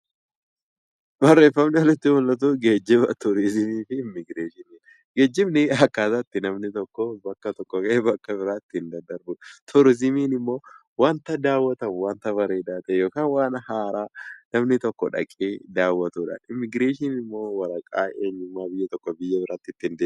Barreeffamni asitti mul'atu geejjiba, turizimii fi immiigireeshiniidha. Geejjibni akkaataa namni tokko bakka tokkoo ka'ee bakka biraatti daddarbudha. Turizimiin immoo wanta daawwatamu wanta bareedaa ta'e namni tokko dhaqee daawwatu immiigireeshiniin immoo waraqaa eenyummaa biyya tokkoo biyya biraatti ittiin deemnudha.